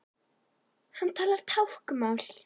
Hann talar táknmál.